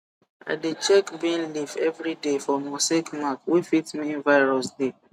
i dey check bean leaf every day for mosaic mark wey fit mean virus dey